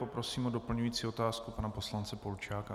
Poprosím o doplňující otázku pana poslance Polčáka.